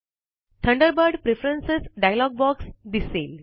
Thunderbird preference dialog box दिसेल